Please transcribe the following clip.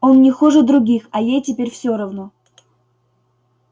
он не хуже других а ей теперь все равно